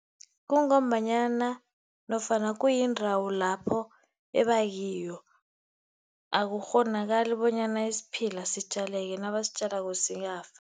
Kungombanyana nofana kuyindawo lapho eba kiyo. Akukghonakali bonyana isiphila sitjaleke, nabasitjalwako siyafa.